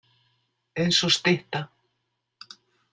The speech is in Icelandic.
Eins og stytta.